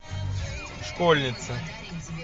школьницы